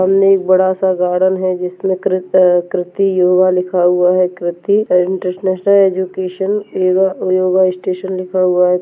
सामने एक बड़ा- सा गार्डन है जिसमें कृत अ कृति योगा लिखा हुआ है Kriti international education yoga yoga station लिखा हुआ हैं।